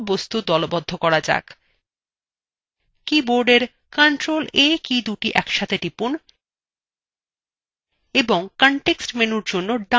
সর্বশেষে আমাদের মানচিত্রে সমস্ত বস্তু দলবদ্ধ করা যাক keyboardএর ctrl + a keyদুটি একসাথে টিপুন এবং context menu জন্য ডানclick করুন